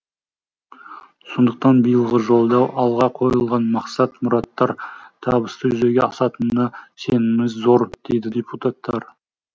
сондықтан биылғы жолдау алға қойылған мақсат мұраттар табысты жүзеге асатынына сеніміміз зор дейді депутаттар